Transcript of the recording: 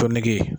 Tɔn nege